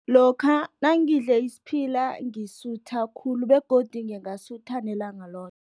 Lokha nangidle isiphila, ngesisutha khulu, begodu ngingasutha nelanga loke.